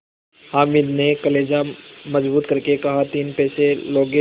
हामिद ने कलेजा मजबूत करके कहातीन पैसे लोगे